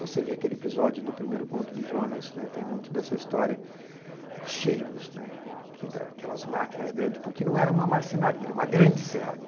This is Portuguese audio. Você vê aquele episódio do primeiro conto de Jonas, né, tem muito dessa história, os cheiros, né, aquelas máquinas grandes, porque não era uma marcenaria, era uma grande serraria.